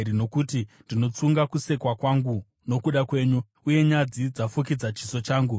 Nokuti ndinotsunga kusekwa hangu nokuda kwenyu, uye nyadzi dzafukidza chiso changu.